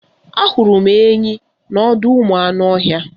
Ahụrụ m enyi n'ọdọụmụanụọhịa